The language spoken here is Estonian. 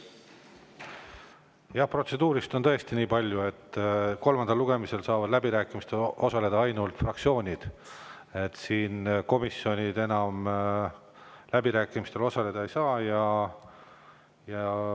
Jah, protseduurist niipalju, et kolmandal lugemisel saavad läbirääkimistel osaleda ainult fraktsioonid, komisjonid enam läbirääkimistel osaleda ei saa.